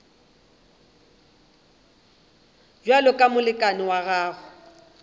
bjalo ka molekane wa gago